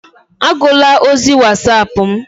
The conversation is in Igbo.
Agụla ozi Wasapu m!